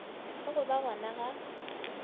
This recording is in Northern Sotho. le go ba gona ga